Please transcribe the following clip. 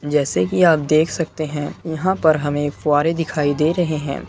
जैसे की आप देख सकते है यहाँ पर हमें फुवारें दिखाई दे रहें हैं।